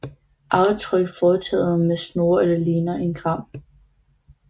Aftryk foretaget med snore eller ligner en gran